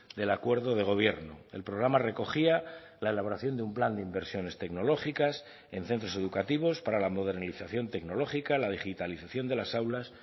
del acuerdo de gobierno el programa recogía la elaboración de un plan de inversiones tecnológicas en centros educativos para la modernización tecnológica la digitalización de las aulas